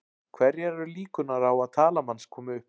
Hverjar eru líkurnar á að talan manns komi upp?